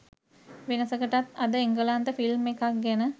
වෙනසකටත් අද එංගලන්ත ෆිල්ම් එකක් ගැන